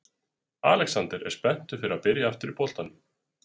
Alexander er spenntur fyrir að byrja aftur í boltanum.